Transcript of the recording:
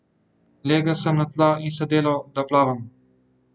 Legel sem na tla in se delal, da plavam.